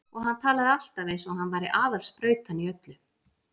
Og hann talaði alltaf eins og hann væri aðal sprautan í öllu.